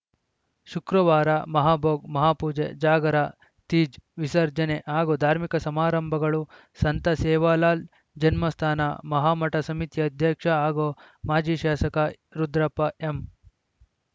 ಶುಕ್ರವಾರ ಮಹಾಭೋಗ್‌ ಮಹಾಪೂಜೆ ಜಾಗರ ತೀಜ್‌ ವಿಸರ್ಜನೆ ಹಾಗೂ ಧಾರ್ಮಿಕ ಸಮಾರಂಭಗಳು ಸಂತ ಸೇವಾಲಾಲ್‌ ಜನ್ಮಸ್ಥಾನ ಮಹಾಮಠ ಸಮಿತಿಯ ಅಧ್ಯಕ್ಷ ಹಾಗೂ ಮಾಜಿ ಶಾಸಕ ರುದ್ರಪ್ಪ ಎಂ